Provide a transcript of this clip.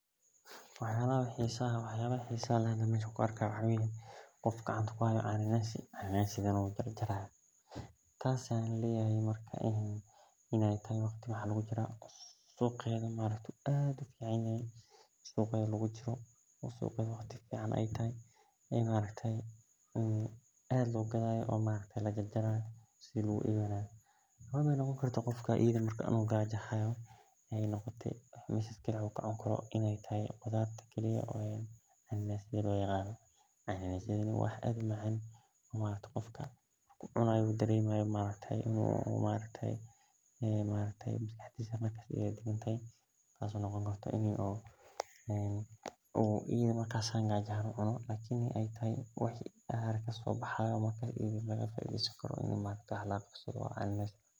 Waxyalaha xisaha leh oo an arki hayo maxaa waye qof cananasi gacanta kuhayo oo kala jar jari hayo maaragte qofka u cunayo oo u arki ahayo marka in u gaja ahan u ucuno tas oo cana nasi cafimaad ee ledhahay sas ayan arki hore u arke.